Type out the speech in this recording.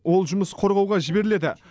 ол жұмыс қорғауға жіберіледі